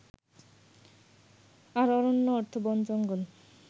আর অরণ্য অর্থ বন জঙ্গল